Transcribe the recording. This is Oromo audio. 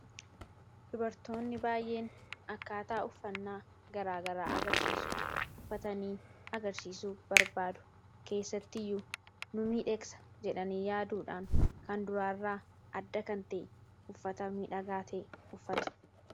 Dubartoonni baay'een akkaataa uffannaa garaagaraa agarsiisu .uffatanii agarsiisuu barbaadu, keessatti iyyuu nu miidheegsa jedhanii yaaduudhaan kan duraairraa adda kan ta'e uffata midhagaata'e uffatu.